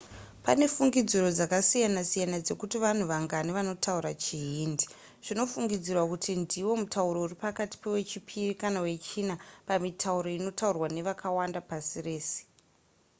pane fungidziro dzakasiyana-siyana dzekuti vanhu vangani vanotaura chihindi zvinofungidzirwa kuti ndiwo mutauro uri pakati pewechipiri kana wechina pamitauro inotaurwa nevakawanda pasi rese